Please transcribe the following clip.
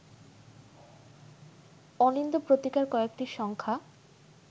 অলিন্দ পত্রিকার কয়েকটি সংখ্যা